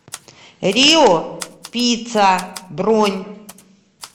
рио пицца бронь